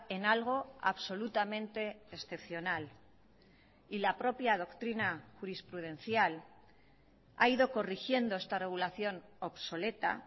en algo absolutamente excepcional y la propia doctrina jurisprudencial ha ido corrigiendo esta regulación obsoleta